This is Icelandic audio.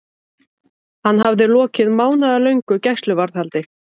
Hann hafði lokið mánaðarlöngu gæsluvarðhaldi.